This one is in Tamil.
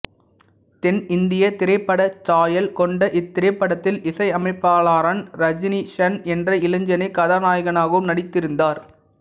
தென்னிந்திய திரைப்படச்சாயல் கொண்ட இத்திரைப்படத்தில் இசையமைப்பாளரான் ரஜனிஷன் என்ற இளைஞனே கதாநாயகனாகவும் நடித்திருந்தார்